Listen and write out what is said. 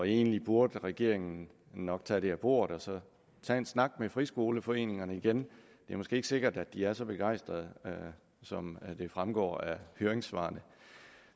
egentlig burde regeringen nok tage det af bordet og så tage en snak med friskoleforeningerne igen det er måske ikke sikkert at de er så begejstrede som det fremgår af høringssvarene